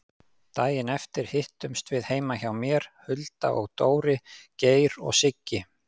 Daginn eftir hittumst við heima hjá mér, Hulda og Dóri, Geir og Siggi.